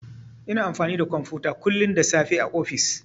Ina aiki da kwamfuta kullun da safe a ofis.